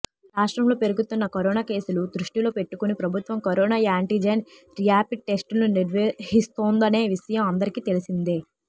రాష్ట్రంలో పెరుగుతున్న కరోనా కేసులను దృష్టిలో పెట్టుకుని ప్రభుత్వం కరోనా యాంటిజెన్ ర్యాపిడ్ టెస్టులు నిర్వహిస్తోందనే విషయం అందరికి తెలిసిందే